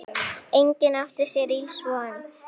Enginn átti sér ills von.